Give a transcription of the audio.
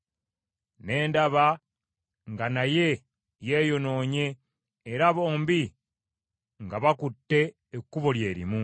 Ne ndaba nga naye yeeyonoonye, era bombi nga bakutte ekkubo lye limu.